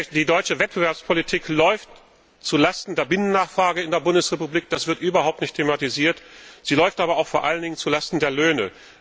Die deutsche Wettbewerbspolitik läuft zu Lasten der Binnennachfrage in der Bundesrepublik, das wird überhaupt nicht thematisiert, sie läuft aber auch vor allen Dingen zu Lasten der Löhne.